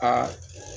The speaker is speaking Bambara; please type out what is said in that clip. Aa